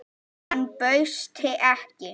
Hann bauðst ekki.